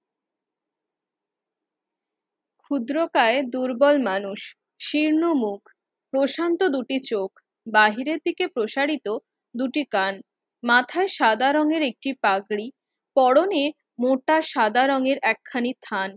খুদ্রখাই দুর্বল মানুষ, শীর্ণ মুখ, প্রশান্ত দুটি চোখ, বাহির থেকে প্রসারিত দুটি কান। মাথাই সাদা রঙের একটি পাগড়ি পরনে মোটা সাদা রঙের একখানি থান